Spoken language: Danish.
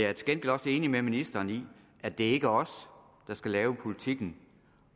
er til gengæld også enig med ministeren i at det ikke er os der skal lave politikken